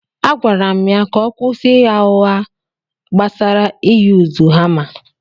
Agwara m ya ka ọ kwụsị ịgha ụgha gbasara ị yuzu hama.